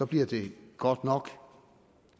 bliver det godt nok at